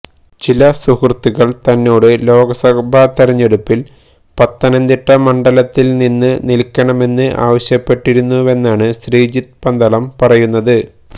ചില സുഹൃത്തുക്കള് തന്നോട് ലോക്സഭാ തെരഞ്ഞെടുപ്പില് പത്തനംതിട്ട മണ്ഡലത്തില് നിന്ന് നില്ക്കണമെന്ന് ആവശ്യപ്പെട്ടിരുന്നുവെന്നാണ് ശ്രീജിത്ത് പന്തളം പറയുന്നത്